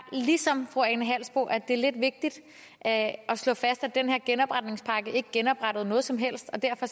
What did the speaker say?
ligesom fru ane halsboe jørgensen at det er lidt vigtigt at slå fast at den her genopretningspakke ikke genoprettede noget som helst og derfor